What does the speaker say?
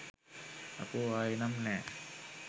අපෝ ආයේ නම් නෑ